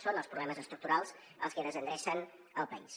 són els problemes estructurals els que desendrecen el país